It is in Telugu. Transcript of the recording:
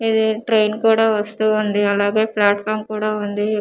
ఇది ట్రైన్ కూడా వస్తూ ఉంది అలాగే ప్లాట్ఫామ్ కూడా ఉంది ఇక్కడ.